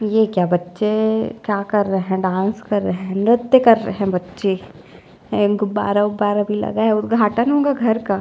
ये क्या बच्चे क्या कर रहे है डांस कर रहे है नृत्य कर रहे है बच्चे और इनको बारह - बारह भी लगा है उद्धघाटन होगा घर का --